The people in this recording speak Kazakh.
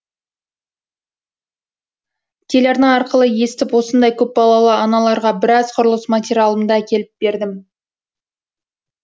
телерна арқылы естіп осындай көпбалалы аналарға біраз құрылыс материалымды әкеліп бердім